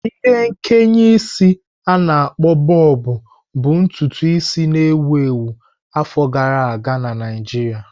Ihe nkeye isi a-na akpo Bọbụ bụ ntutu isi na-ewu ewu afọ gara aga na Naijiria.